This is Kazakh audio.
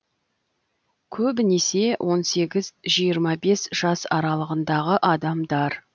көбінесе он сегіз жиырма бес жас аралығындағы адамдар